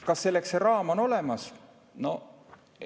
Kas selleks raam on olemas?